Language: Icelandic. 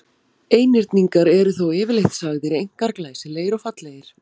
Einhyrningar eru þó yfirleitt sagðir einkar glæsilegir og fallegir.